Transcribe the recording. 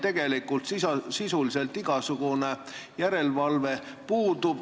Täna meil ju sisuliselt igasugune järelevalve puudub.